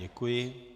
Děkuji.